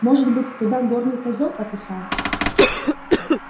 может быть туда горный козёл пописал